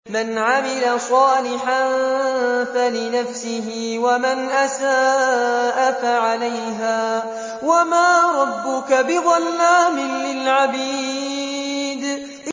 مَّنْ عَمِلَ صَالِحًا فَلِنَفْسِهِ ۖ وَمَنْ أَسَاءَ فَعَلَيْهَا ۗ وَمَا رَبُّكَ بِظَلَّامٍ لِّلْعَبِيدِ